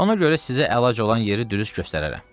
Ona görə sizə əlac olan yeri dürüst göstərərəm.